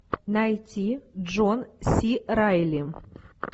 найти джон си райли